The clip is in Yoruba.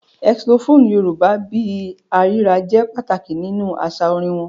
Xylophone Yorùbá bí i “àrírà” jẹ́ pàtàkì nínú àṣà orin wọn.